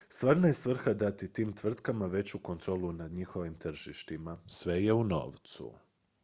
stvarna je svrha dati tim tvrtkama veću kontrolu nad njihovim tržištima sve je u novcu